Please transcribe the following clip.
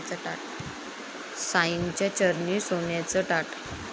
साईंच्या चरणी सोन्याचं ताट